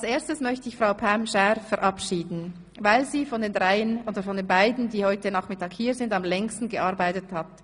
Als Erstes möchte ich Frau Pam Schär verabschieden, weil sie von den beiden, die heute Nachmittag anwesend sind, am Längsten hier gearbeitet hat.